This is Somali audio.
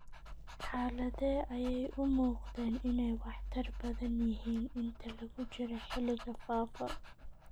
Xaaladdee ayay u muuqdeen inay waxtar badan yihiin inta lagu jiro xilliga faafa?